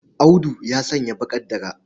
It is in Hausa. Audu ya sanya baƙar dara.